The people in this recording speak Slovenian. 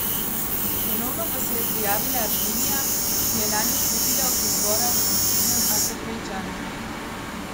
Ponovno pa se je prijavila Armenija, ki je lani odstopila od izbora v sosednjem Azerbajdžanu.